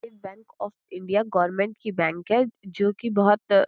ये bank of India government की bank है जोकि बहोत --